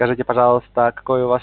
скажите пожалуйста какой у вас